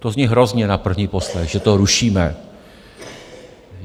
To zní hrozně na první poslech, že to rušíme.